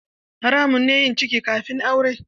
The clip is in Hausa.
Haramun ne yin ciki kafin aure.